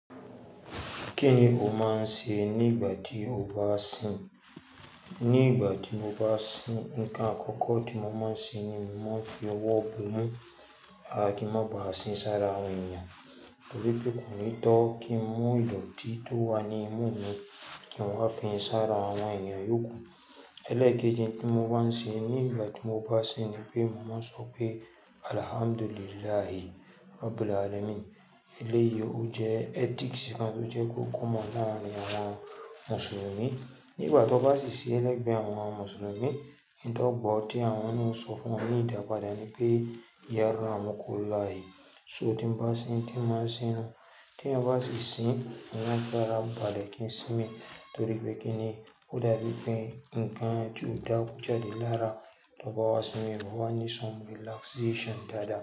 Kí ni o máa ń ṣe nígbà tí o bá ń sìn? Nígbà tí mo bá ń sìn, nǹkan àkọ́kọ́ tí mo máa ń ṣe ni mo máa ń fi ọwọ́ bo mú a kí n má bà á sín sáré àwọn èèyàn, nótipé kò ní tọ́ kí n mú ìdòtí tó wà ní inú mi kí n wá fi ń sáré àwọn èèyàn yókù. Ẹlẹ́kejì tí mo máa ń ṣe nígbà tí mo bá sìn ni pé mo máa sọ pé alhamdulillahi rabbil alamin. Eléyìí ó jẹ́ ethics kan tí ó jẹ́ kó common láàárín àwọn Mùsùlùmí. Nígbà tó bá sì ṣe ẹlẹgbẹ́ àwọn Mùsùlùmí, nǹkan tó gbọ́ tí àwọn ni ó sọ fún wa ní ìdàpáàda ni pé yarammukullahi. So tí mo bá sìn tí máa sìn náà, tí èyán bá sì sìn, wọn fẹ́ ra bàlẹ̀ kí n sinmi, torí pé kí ni ó dàbí pé nǹkan tí ó dàbí jáde lára tó bá wá sinmi, ó máa wá ní some relaxation dáadáa.